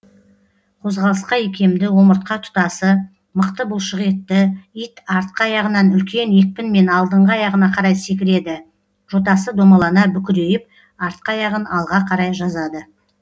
қозғалысқа икемді омыртқа тұтасы мықты бұлшық етті ит артқы аяғынан үлкен екпінмен алдыңғы аяғына қарай секіреді жотасы домалана бүкірейіп артқы аяғын алға қарай жазады